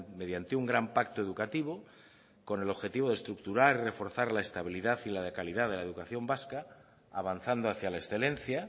mediante un gran pacto educativo con el objetivo de estructurar reforzar la estabilidad y la calidad de la educación vasca avanzando hacia la excelencia